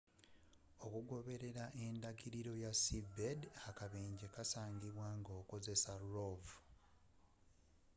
okugoberera endagiriro ya seabed akabenje kasangibwa nga ekozesa rov